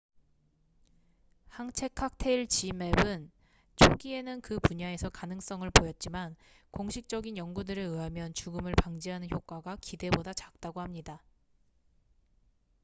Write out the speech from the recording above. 항체 칵테일 지맵zmapp은 초기에는 그 분야에서 가능성을 보였지만 공식적인 연구들에 의하면 죽음을 방지하는 효과가 기대보다 작다고 합니다